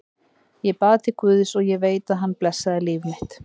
Ég bað til guðs, og ég veit að hann blessaði líf mitt.